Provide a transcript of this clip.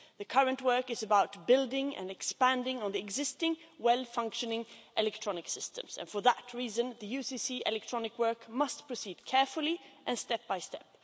The current work is about building and expanding on the existing well-functioning electronic systems. For that reason, the UCC electronic work must proceed carefully, step by step.